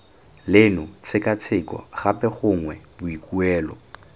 leno tshekatsheko gape gongwe boikuelo